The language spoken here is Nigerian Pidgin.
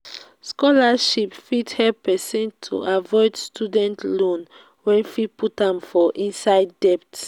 scholarship fit help person to avoid student loans wey fit put am for inside debt